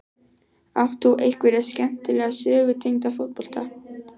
Átt þú einhverja skemmtilega sögur tengda fótbolta?